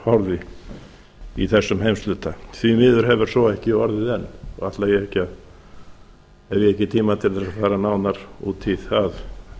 horfði í þessum heimshluta því miður hefur svo ekki orðið enn og hef ég ekki tíma til þess að fara nánar út í það